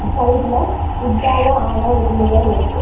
சைடுல வுட்டால ஆன ஒரு மிரர் இருக்கு.